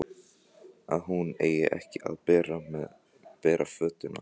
Að hún eigi ekki að bera fötuna.